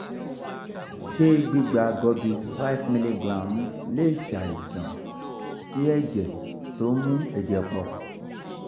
ṣé gbígba gorbis five mg lè ṣàìsàn sí ẹ̀jẹ̀ tó ń mú ẹ̀jẹ̀ pọ̀?